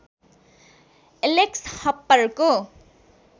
Alex हप्परको